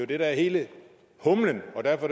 det der er hele humlen og derfor